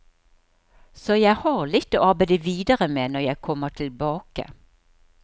Så jeg har litt å arbeide videre med når jeg kommer tilbake.